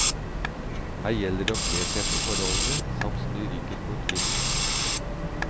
Her gjelder det å kle seg etter forholdene, samt snu ryggen mot vinden.